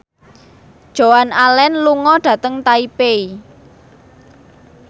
Joan Allen lunga dhateng Taipei